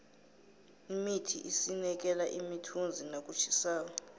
imithi isinikela imithunzi nakutjhisako